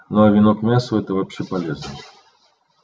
ну а вино к мясу это вообще полезно